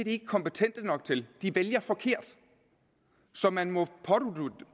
ikke kompetente nok til de vælger forkert så man må